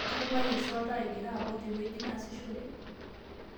katunguayie sa oltaa egira apok te wueji naasishore